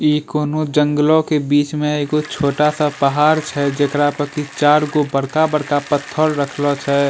ई कोनो जॅंगलो के बीच में एगो छोटा-सा पहाड़ छै जेकरा प की चार गो बड़का-बड़का पत्थर रखलो छे।